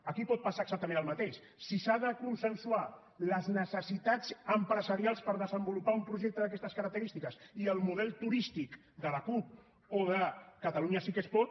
aquí pot passar exactament el mateix si s’han de consensuar les necessitats empresarials per desenvolupar un projecte d’aquestes característiques i el model turístic de la cup o de catalunya sí que es pot